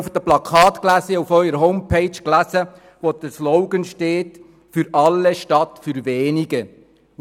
Ich habe auf Ihren Plakaten und Ihrer Homepage den Slogan «Für alle statt für wenige» gelesen.